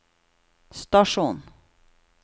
stasjon